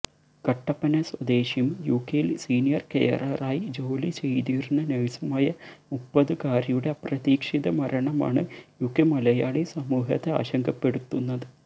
കട്ടപ്പന സ്വദേശിയും യുകെയിൽ സീനിയർ കെയററായി ജോലി ചെയ്തിരുന്ന നഴ്സുമായ മുപ്പതുകാരിയുടെ അപ്രതീക്ഷിത മരണമാണ് യുകെ മലയാളി സമൂഹത്തെ ആശങ്കപ്പെടുത്തുന്നത്